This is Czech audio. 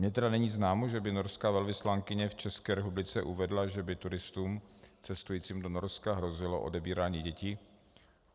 Mě tedy není známo, že by norská velvyslankyně v České republice uvedla, že by turistům cestujícím do Norska hrozilo odebírání dětí.